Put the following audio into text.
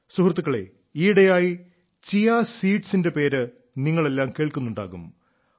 സുഹൃത്തുക്കളേ ഈയിടെയായി ചിയാ സീഡ്സിന്റെ പേര് നിങ്ങളെല്ലാം കേൾക്കുന്നുണ്ടാകും